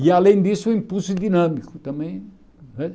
E, além disso, o impulso dinâmico também né.